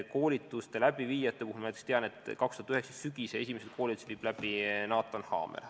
Koolituste läbiviijate kohta ma tean, et tänavu sügisel viib esimesed koolitused läbi Naatan Haamer.